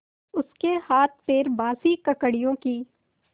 उसके हाथपैर बासी ककड़ियों की